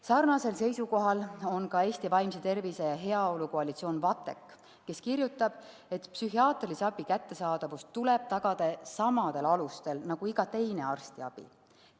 Sarnasel seisukohal on ka Eesti Vaimse Tervise ja Heaolu Koalitsioon VATEK, kes kirjutab, et psühhiaatrilise abi kättesaadavus tuleb tagada samadel alustel nagu iga teise arstiabi kättesaadavus.